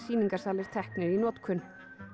sýningarsalir teknir í notkun